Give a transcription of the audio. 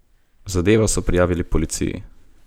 Zadevo so prijavili policiji.